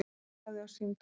Hann lagði á símtólið.